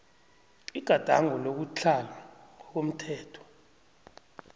igadango lokutlhala ngokomthetho